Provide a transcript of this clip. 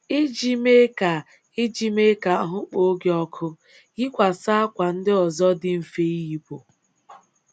Iji mee ka Iji mee ka ahụ́ kpoo gị ọkụ, yikwasị ákwà ndị ọzọ dị mfe ịyịpụ.